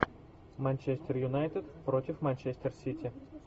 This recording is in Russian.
манчестер юнайтед против манчестер сити